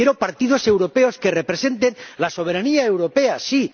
quiero partidos europeos que representen la soberanía europea, sí.